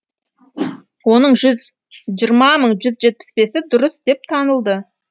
оның жүз жиырма мың жүз жетпіс бесі дұрыс деп танылды